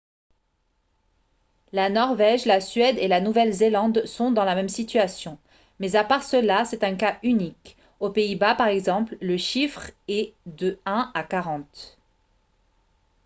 la norvège la suède et la nouvelle-zélande sont dans la même situation mais à part cela c'est un cas unique aux pays-bas par exemple le chiffre est de un à quarante